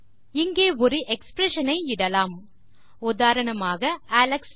இங்கே ஒரு எக்ஸ்பிரஷன் ஐ இடலாம் உதாரணமாக அலெக்ஸ் என